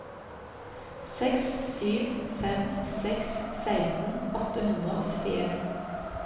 seks sju fem seks seksten åtte hundre og syttien